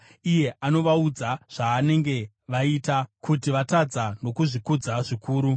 iye anovaudza zvavanenge vaita, kuti vatadza nokuzvikudza zvikuru.